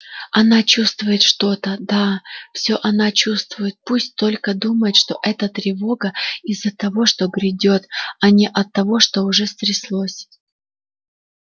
она чувствует что-то да всё она чувствует пусть только думает что эта тревога из-за того что грядёт а не от того что уже стряслось